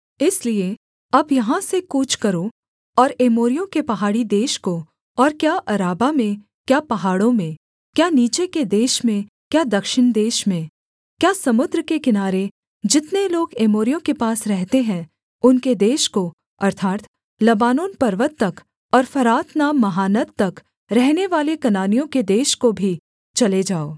इसलिए अब यहाँ से कूच करो और एमोरियों के पहाड़ी देश को और क्या अराबा में क्या पहाड़ों में क्या नीचे के देश में क्या दक्षिण देश में क्या समुद्र के किनारे जितने लोग एमोरियों के पास रहते हैं उनके देश को अर्थात् लबानोन पर्वत तक और फरात नाम महानद तक रहनेवाले कनानियों के देश को भी चले जाओ